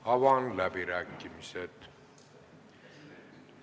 Avan läbirääkimised.